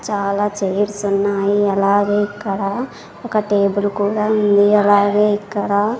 చాలా చైర్స్ ఉన్నాయి అలాగే ఇక్కడ ఒక టేబుల్ కూడా ఉంది అలాగే ఇక్కడ.